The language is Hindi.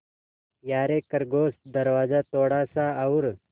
यारे खरगोश दरवाज़ा थोड़ा सा और